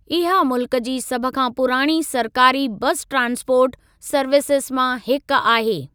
इहा मुल्कु जी सभ खां पुराणी सरकारी बसि ट्रांसपोर्ट सर्विसिज़ मां हिकु आहे।